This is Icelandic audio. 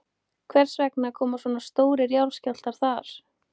Hvers vegna koma svona stórir jarðskjálftar þar?